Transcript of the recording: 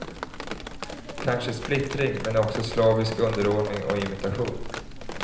Kanske splittring, men också slavisk underordning och imitation.